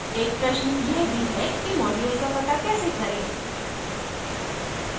एक प्रश्न यह भी है कि module का पता कैसे करें